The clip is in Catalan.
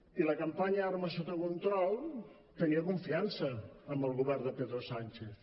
i la campanya armes sota control tenia confiança en el govern de pedro sánchez